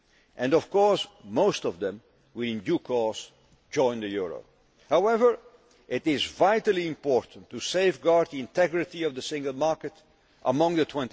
And, of course, most of them will in due course join the euro. However, it is vitally important to safeguard the integrity of the single market